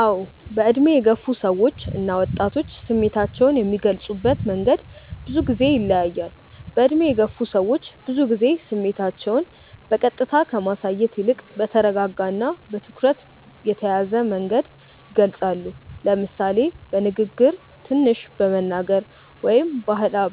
አዎ፣ በዕድሜ የገፉ ሰዎች እና ወጣቶች ስሜታቸውን የሚገልጹበት መንገድ ብዙ ጊዜ ይለያያል። በዕድሜ የገፉ ሰዎች ብዙ ጊዜ ስሜታቸውን በቀጥታ ከማሳየት ይልቅ በተረጋጋ እና በትኩረት የተያዘ መንገድ ይገልጻሉ፤ ለምሳሌ በንግግር ትንሽ በመናገር ወይም